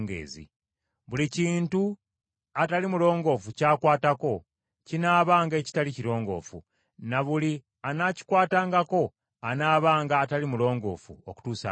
Buli kintu atali mulongoofu ky’akwatako, kinaabanga ekitali kirongoofu; na buli anaakikwatangako anaabanga atali mulongoofu okutuusa akawungeezi.”